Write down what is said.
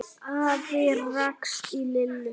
Afi rakst á Lillu.